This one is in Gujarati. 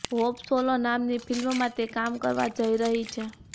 હોપ સોલો નામની ફિલ્મમાં તે કામ કરવા જઇ રહી છે